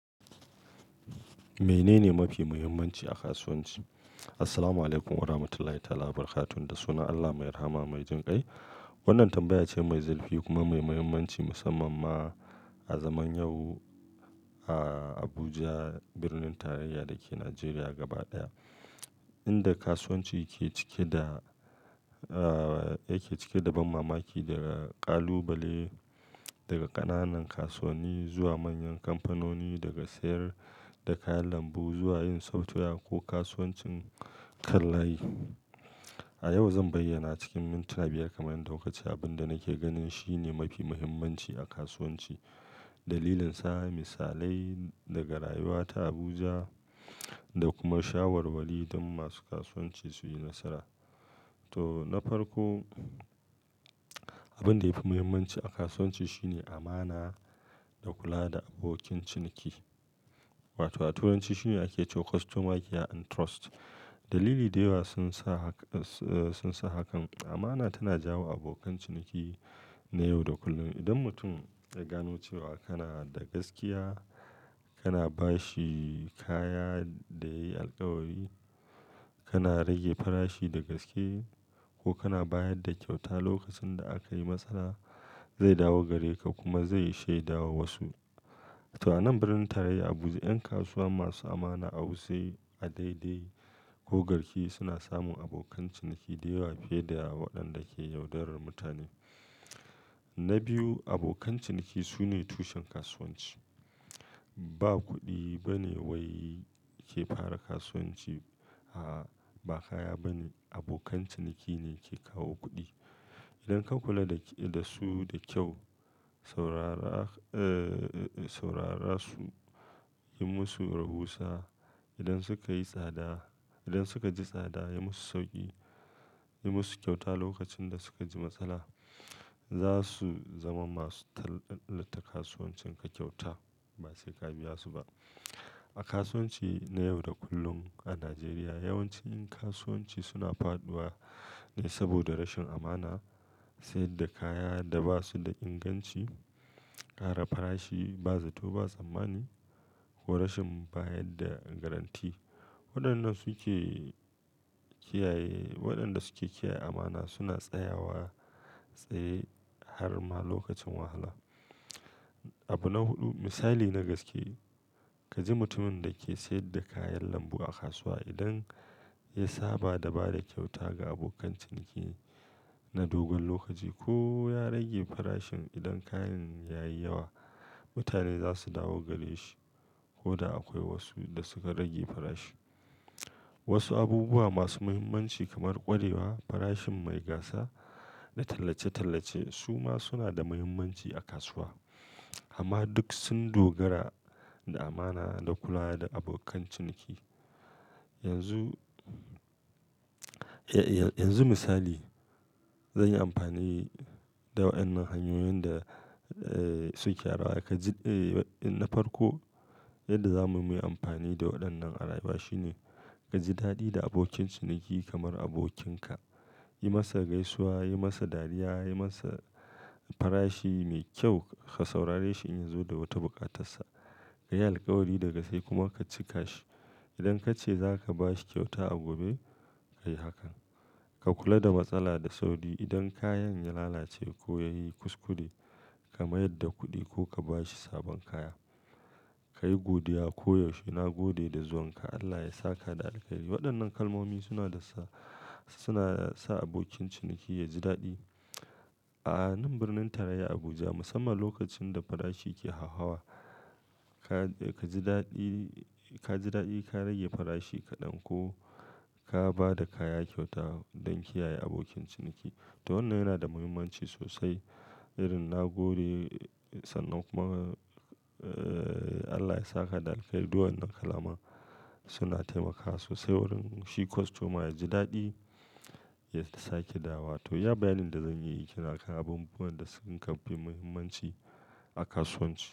Mene ne mafi muhimmanci a kasuwanci? Assalamualaikum warahmatullahi ta'alabarkatuh. Da sunan Allah mai rahama mai jin kai. Wannan tambaya ce mai zafi kuma mai muhimmanci, musamman ma a zaman yau a Abuja, birnin tarayya da ke Najeriya gaba ɗaya, inda kasuwanci ke cike da, ah, yake cike da ban mamaki, daga ƙalubale daga ƙananan kasuwani zuwa manyan kamfanoni, daga sayar da kayan lambu zuwa yin software ko kasuwancin kallaye. A yau zan bayyana cikin mintuna biyar kamar yadda kukace abin da nake ganin shine mafi muhimmanci a kasuwanci, dalilin sa, misalai daga rayuwata a Abuja da kuma shawarwari don masu kasuwanci su yi nasara. To, na farko, abin da yafi muhimmanci a kasuwanci shine amana da kula da abokin ciniki. Wato a Turanci shi ne ake cewa customer care and trust. Dalilai da yawa sun sa haka, sun sa hakan. Amana tana jawo abokan ciniki na yau da kullum. Idan mutum ya gano cewa kana da gaskiya, kana ba shi kaya da ya yi alkawari, kana rage farashi da gaske ko kana bayar da kyauta lokacin da aka yi matsala, zai dawo gare ka kuma zai shaida wa wasu. To, a nan birnin tarayya Abuja 'yan kasuwa masu amana a Wuse, a Daidai ko Garki suna samun abokan ciniki da yawa fiye da waɗanda ke yaudarar mutane. Na biyu, abokan ciniki su ne tushen kasuwanci. Ba kuɗi ba ne wai ke fara kasuwanci. A'a, ba kaya ba ne. Abokan ciniki ne ke kawo kuɗi. Idan ka kula da su da kyau, saurara, eh, saurara su, yi musu rahusa, idan suka yi tsada, idan suka ji tsada, yi musu sauƙi. Yi musu kyauta lokacin da suka ji matsala, za su zama masu tallata kasuwancin ka kyauta. Bai sai ka biya su ba. A kasuwanci na yau da kullum a Najeriya, yawancin kasuwanci suna faɗuwa ne saboda rashin amana, sayar da kaya da ba su da inganci, ƙara farashi ba zato ba tsammani ko rashin bayar da garantti. Waɗannan su ke kiyaye, waɗanda suke kiyaye amana suna tsayawa tsaye har ma lokacin wahala. Abu na huɗu, misali na gaske, ka ji mutumin da ke sayar da kayan lambu a kasuwa idan ya saba da ba da kyauta ga abokan ciniki na dogon lokaci ko ya rage farashin idan kayan ya yi yawa, mutane za su dawo gare shi. Ko da akwai wasu da suka rage farashi. Wasu abubuwa masu muhimmanci kamar ƙwarewa, farashin mai gasa da tallace-tallace su ma suna da muhimmanci a kasuwa. Amma duk sun dogara da amana da kula da abokan ciniki. Yanzu, yanzu misali, zan yi amfani da waɗannan hanyoyin da suke rawa. Ka ji, eh, na farko, yadda za mu yi amfani da waɗannan a rayuwa shine ka ji daɗi da abokin ciniki kamar abokinka. Yi masa gaisuwa, yi masa dariya, yi masa farashi mai kyau, ka saurare shi in ya zo da wata buƙatarsa. Ka yi alkawari daga sai kuma ka cika shi. Idan ka ce za ka ba shi kyauta a gobe, ka yi hakan. Ka kula da matsala da sauri idan kayan ya lalace ko ya yi kuskure, ka mayar da kuɗi ko ka ba shi sabon kaya. Ka yi godiya koyaushe. Na gode da zuwan ka. Allah ya sa ka da alheri. Waɗannan kalmomi suna da sa, suna sa abokin ciniki ya ji daɗi. A nan birnin tarayya Abuja, musamman lokacin da farashi ke hawhawa, ka ji daɗi, ka ji daɗi ka rage farashi ka ɗanko ka ba da kaya kyauta don kiyaye abokin ciniki. To wannan yana da muhimmanci sosai. Irin "na gode," sannan kuma, eh, "Allah ya sa ka da alheri." Duwawwan kalmomin suna taimakawa sosai wurin shi kostoma ya ji daɗi ya sake dawo. To, ya bayanin da zan yi ke nakan abubuwan da sun fi muhimmanci a kasuwanci.